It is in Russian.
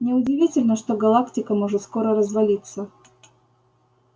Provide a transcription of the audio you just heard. не удивительно что галактика может скоро развалиться